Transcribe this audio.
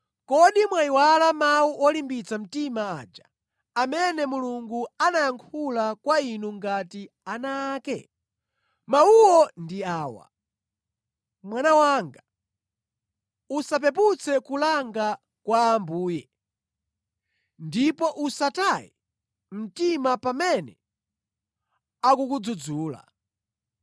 Kodi mwayiwala mawu olimbitsa mtima aja, amene Mulungu anayankhula kwa inu ngati ana ake? Mawuwo ndi awa: “Mwana wanga, usapeputse kulanga kwa Ambuye ndipo usataye mtima pamene akukudzudzula.